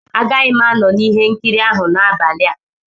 Agaghị m anọ na ihe nkiri ahụ n'abalị a.